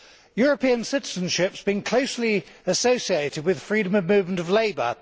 European citizenship has been closely associated with freedom of movement of labour.